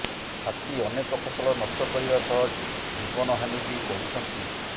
ହାତୀ ଅନେକ ଫସଲ ନଷ୍ଟ କରିବା ସହ ଜୀବନହାନୀ ବି କରୁଛନ୍ତି